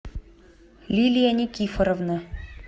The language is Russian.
лилия никифоровна